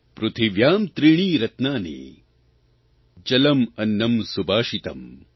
પૃથિવ્યાં ત્રીણિ રત્નાનિ જલમ્ અન્નમ્ સુભાષિતમ્